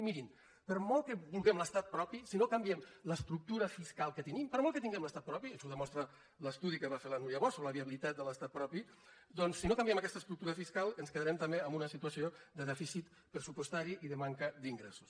i mirin per molt que vulguem l’estat propi si no canviem l’estructura fiscal que tenim per molt que tinguem l’estat propi això ho demostra l’estudi que va fer la núria bosch sobre la viabilitat de l’estat propi doncs si no canviem aquesta estructura fiscal ens quedarem també amb una situació de dèficit pressupostari i de manca d’ingressos